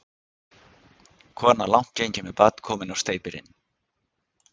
Kona langt gengin með barn, komin á steypirinn.